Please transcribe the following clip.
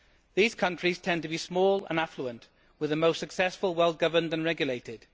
These countries tend to be small and affluent, with the most successful well governed and regulated.